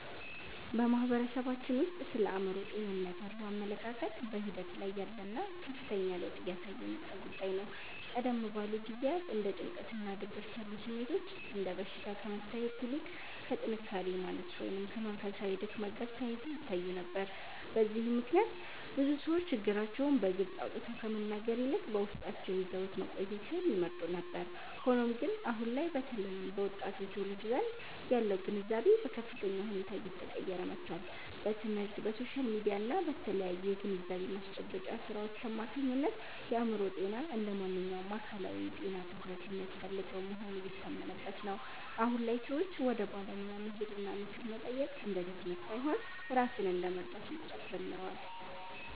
በማህበረሰባችን ውስጥ ስለ አእምሮ ጤንነት ያለው አመለካከት በሂደት ላይ ያለና ከፍተኛ ለውጥ እያሳየ የመጣ ጉዳይ ነው። ቀደም ባሉ ጊዜያት እንደ ጭንቀትና ድብርት ያሉ ስሜቶች እንደ በሽታ ከመታየት ይልቅ ከጥንካሬ ማነስ ወይም ከመንፈሳዊ ድክመት ጋር ተያይዘው ይታዩ ነበር። በዚህም ምክንያት ብዙ ሰዎች ችግራቸውን በግልጽ አውጥተው ከመናገር ይልቅ በውስጣቸው ይዘውት መቆየትን ይመርጡ ነበር። ሆኖም ግን፣ አሁን ላይ በተለይም በወጣቱ ትውልድ ዘንድ ያለው ግንዛቤ በከፍተኛ ሁኔታ እየተቀየረ መጥቷል። በትምህርት፣ በሶሻል ሚዲያ እና በተለያዩ የግንዛቤ ማስጨበጫ ሥራዎች አማካኝነት የአእምሮ ጤና እንደ ማንኛውም አካላዊ ጤና ትኩረት የሚያስፈልገው መሆኑ እየታመነበት ነው። አሁን ላይ ሰዎች ወደ ባለሙያ መሄድና ምክር መጠየቅ እንደ ድክመት ሳይሆን ራስን እንደ መርዳት መቁጠር ጀምረዋል።